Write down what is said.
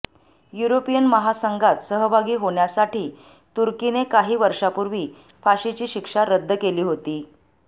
European महासंघात सहभागी होण्यासाठी तुर्कीने काही वर्षांपूर्वी फाशीची शिक्षा रद्द केली होती